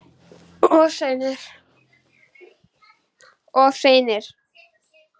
Of seinir!